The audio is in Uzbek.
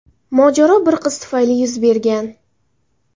Mojaro bir qiz tufayli yuz bergan.